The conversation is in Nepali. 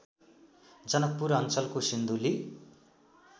जनकपुर अञ्चलको सिन्धुली